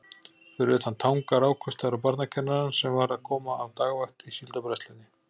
Fyrir utan Tanga rákust þær á barnakennarann sem var að koma af dagvakt í Síldarbræðslunni.